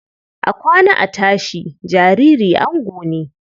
A kwana, a tashi, jariri ango ne.